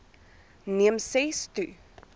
neem ses to